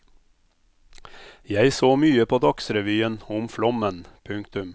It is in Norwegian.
Jeg så mye på dagsrevyen om flommen. punktum